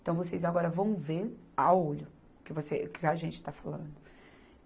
Então, vocês agora vão ver a olho o que você, o que a gente está falando.